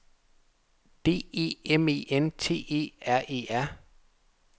D E M E N T E R E R